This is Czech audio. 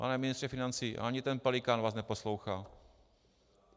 Pane ministře financí, ani ten Pelikán vás neposlouchá!